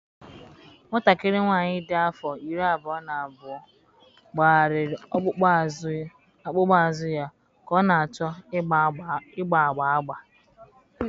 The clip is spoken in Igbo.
Nwatakịrị nwanyị dị afọ iri abụọ na abụọ gbagharịrị ọkpụkpụ azụ ya ka ọ na-achọ ịgba agba agba